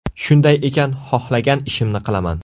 Shunday ekan, xohlagan ishimni qilaman.